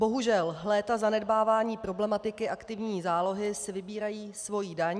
Bohužel, léta zanedbávání problematiky aktivní zálohy si vybírají svoji daň.